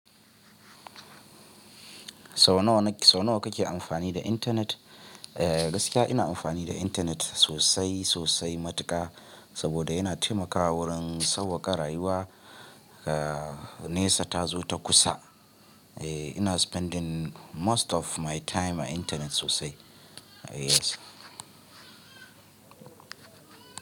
Sau nawa, sau nawa kake amfani da intanet? Eh gaskiya ina amfani da intanet sosai sosai matuka saboda yana taimakawa wurin sauƙaƙa rayuwa, eh nesa ta zo ta kusa. Eh ina spending most of my time a intanet sosai. Yes.